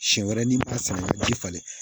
Siɲɛ wɛrɛ n'i b'a san ji falen